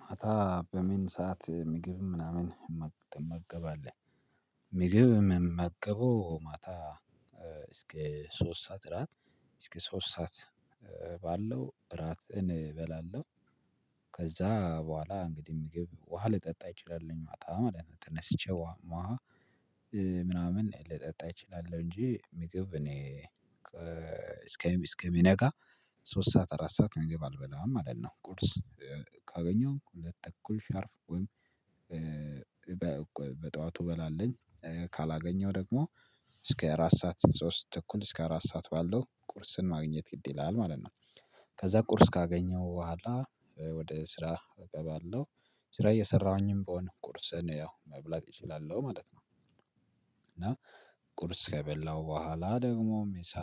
ማታ በምን ሰዓት ምግብ ምናምን ትመገባለህ? ምግብ ምመገበው ማታ እስከ ሶስት ሰዓት እራት እስከ ሶስት ሰዓት እራትን እበላለሁ። ከዛ በኋላ እንግዲህ ምግብ ውሃ ልጠጣ እንችላለን ማለት ነው። ተነስቼ ውሃ ምናምን ልጠጣ እችላለሁ እንጂ ምግብ እኔ እስከሚነጋ ሶስት ሰዓት አራት ሰዓት ምግብ አልበላም ማለት ነው። ቁርስ ካገኘሁን ሁለት ተኩል ሻርፕ ወይም በጠዋቱ እበላለሁኝ። ካላገኘሁ ደግሞ እስከ አራት ሰዓት ሶስት እኩል እስከ አራት ሰዓት ባለው ቁርስን ማግኘት ግድ ይላል ማለት ነው። ከዛ ቁርስ ካገኘሁ በኋላ ወደ ስራ እገባለሁ። ስራ እየሰራሁኝም ብሆን ቁርስን ያው መብላት እችላለሁ ማለት ነው። እና ቁርስ ከበላሁ በኋላ ደግሞም ምሳ።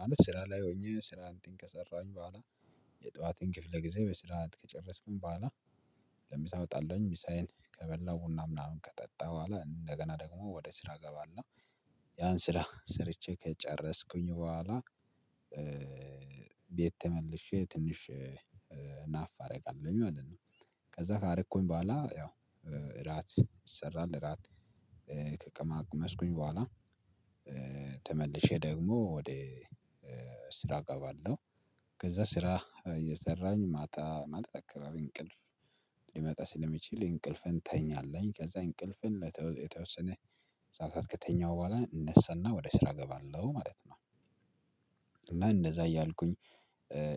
ማለት ስራ ላይ ሆኜ ስራን ከሰራሁኝ በኋላ የጠዋቴን ክፍለ ጊዜ በስርዓት ከጨረስኩኝ በኋላ ለምሳ እወጣለሁኝ ምሳዬን ከበላው ቡና ምናምን ከጠጣሁ በኋላ እንደገና ደግሞ ወደ ስራ እገባለሁ። ያን ስራ ስርቼ ከጨረስኩኝ በኋላ ቤት ተመልሼ ትንሽ ናፕ አደርጋለሁኝ ማለት ነው። ከዛ ካረኩኝ በኋላ ያው እራት ይሰራል እራት ከቀማመስኩኝ በኋላ ተመልሼ ደግሞ ወደ ስራ እገባለሁ። ከዛ ስራ እየሰራሁኝ ማታ ማታ አካባቢ እንቅልፍ ሊመጣ ስለሚችል እንቅልፍን እንተኛለን ከዛ እንቅልፍን የተወሰነ ሰዓታት ከተኛሁ በኋላ እነሳና ወደ ስራ እገባለሁ ማለት ነው። እና እንደዛ እያልኩኝ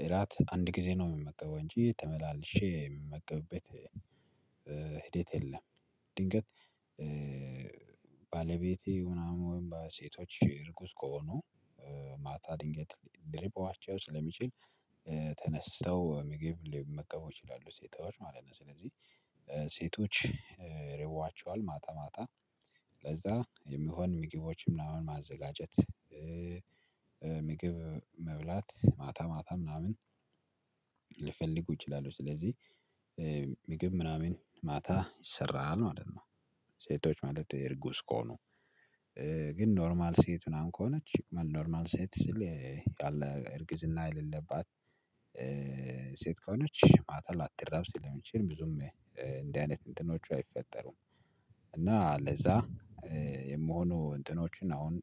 እራት አንድ ጊዜ ነው የምመገበው እንጂ ተመላልሼ የምመገብበት ሂደት የለም። ድንገት ባለቤቴ ምናምን ወይም ሴቶች ርጉዝ ከሆኑ ማታ ድንገት ሊርባቸው ስለሚችል ተነስተው ምግብ ሊመገቡ ይችላሉ ሴቶች ማለት ነው። ስለዚህ ሴቶች ይርባቸዋል ማታ ማታ ለዛ የሚሆን ምግቦችን ምናምን ማዘጋጀት። ምግብ መብላት ማታ ማታ ምናምን ሊፈልጉ ይችላሉ ስለዚህ ምግብ ምናምን ማታ ይሰራል ማለት ነው። ሴቶች ማለት እርጉዝ ከሆኑ ግን ኖርማል ሴት ምናምን ከሆነች ኖርማል ሴት ስል እርግዝና የሌለባት ሴት ከሆነች ማታል ላተረብ ስለሚችል ብዙም እንዲህ አይነት እንትኖች አይፈጠሩም። እና ለዛ የምሆኑ እንትኖችን አሁን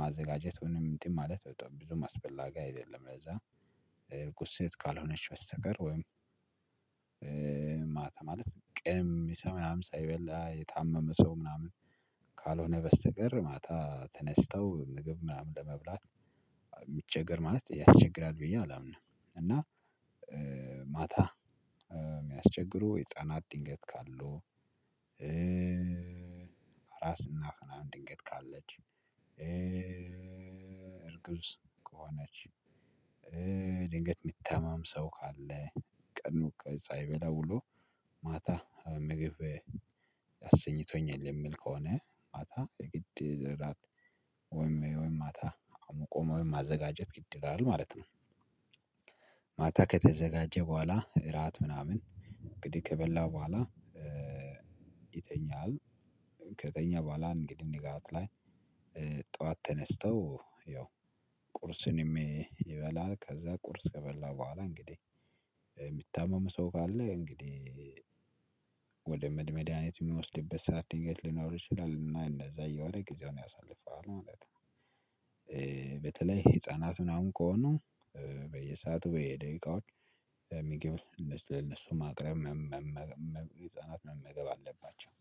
ማዘጋጀት ወይም እንትን ማለት በጣም ብዙም አስፈላጊ አይደለም። ለዛ እርጉዝ ሴት ካልሆነች በስተቀር ወይም ማታ ማለት ቀን ምሳ ምናምን ሳይበላ የታመመ ሰው ምናምን ካልሆነ በስተቀር ማታ ተነስተው ምግብ ምናምን ለመብላት የሚቸገር ማለት ያስቸግራል ብዬ አላምንም። እና ማታ የሚያስቸግሩ ህፃናት ድንገት ካሉ ራስና ስናን ድንገት ካለች እርግዝ ከሆነች ድንገት የሚታመም ሰው ካለ ቀኑ ቀኑ ሳይበላ ውሎ ማታ ምግብ አሰኝቶኛል የሚል ከሆነ ማታ ግድ እራት ወይም ማታ አሙቆም ማዘጋጀት ግድ ይላል ማለት ነው። ማታ ከተዘጋጀ በኋላ እራት ምናምን እንግዲህ ከበላው በኋላ ይተኛል። ከተኛ በኋላ እንግዲህ ንጋት ላይ ጠዋት ተነስተው ያው ቁርስንም ይበላል ከዛ ቁርስ ከበላ በኋላ እንግዲህ የሚታመም ሰው ካለ እንግዲህ ወደ መድሃኒት የሚወስድበት ሰዓት ድንገት ሊኖር ይችላል። እና እንደዛ የዋለ ጊዜውን ያሳልፈዋል ማለት። በተለይ ህፃናት ምናምን ከሆኑ በየሰአቱ በየደቂቃዎች ምግብን ለእነሱ ማቅረብ። ህፃናት መመገብ አለባቸው።